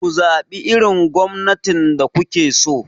Ku zaɓi irin gwamnatin da kuke so!